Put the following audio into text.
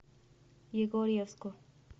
егорьевску